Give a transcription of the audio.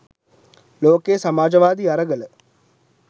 ලෝකයේ සමාජවාදී අරගල